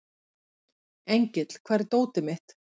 Engill, hvar er dótið mitt?